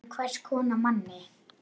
En hvers konar manni?